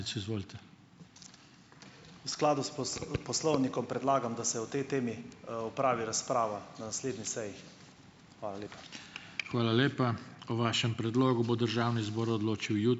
V skladu s poslovnikom predlagam, da se o tej temi, opravi razprava na naslednji seji. Hvala lepa.